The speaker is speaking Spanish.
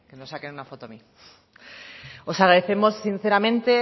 me saquen una foto a mí os agrademos sinceramente